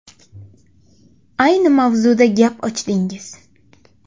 Ayni mavzuda gap ochdingiz.